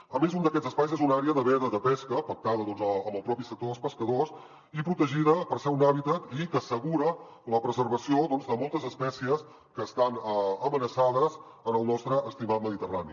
a més un d’aquests espais és una àrea de veda de pesca pactada amb el propi sector dels pescadors i protegida perquè és un hàbitat i que assegura la preservació de moltes espècies que estan amenaçades en el nostre estimat mediterrani